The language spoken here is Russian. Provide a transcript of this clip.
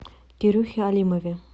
кирюхе алимове